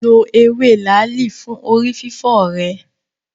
Lo ewé làálì fún orí fífọ́ rẹ.